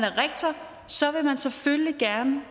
rektor så vil man selvfølgelig gerne